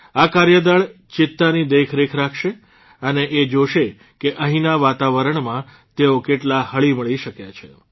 આ કાર્યદળ ચિત્તાની દેખરેખ રાખશે અને એ જોશે કે અહિંના વાતાવરણમાં તેઓ કેટલા હળીમળી શક્યા છે